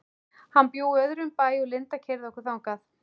Hann bjó í öðrum bæ og Linda keyrði okkur þangað.